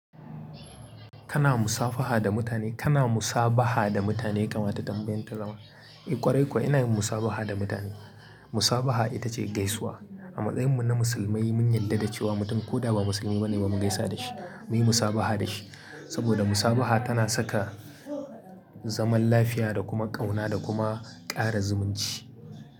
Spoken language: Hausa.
Kana musafaha da mutane? Kana musabaha da mutane? Kamata tambayan ta zama. Eh kwarai kuwa inayin musabaha da mutane. Musabaha ita ce gaisuwa. A matsayin mu na musulmai mun yarda da cewa mutum koda ba musulmi bane ba mu gaisa da shi, muyi musabaha da shi. Saboda musabaha tana saka zaman lafiya da kuma ƙauna da kuma ƙara zumunci.